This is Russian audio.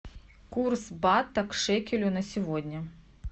курс бата к шекелю на сегодня